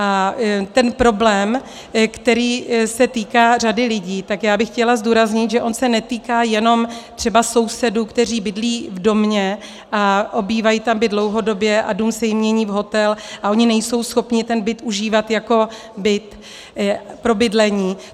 A ten problém, který se týká řady lidí, tak já bych chtěla zdůraznit, že on se netýká jenom třeba sousedů, kteří bydlí v domě a obývají tam byt dlouhodobě a dům se jim mění v hotel a oni nejsou schopni ten byt užívat jako byt pro bydlení.